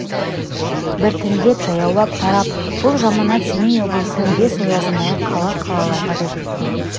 біртіндеп жаяулап тарап бұл жаманат семей облысының бес оязындағы қала-қалаларға да жеткен